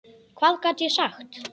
Hvað gat ég sagt?